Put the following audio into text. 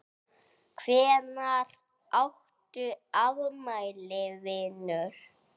Hvenær áttu afmæli vinur?